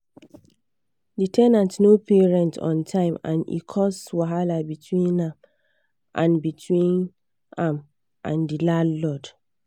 the ten ant no pay rent on time and e cause wahala between am and between am and the landlord.